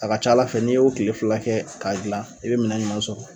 A ka ca Ala fɛ n'i y'o tile fila kɛ k'a dilan i be minɛn ɲuman sɔrɔ.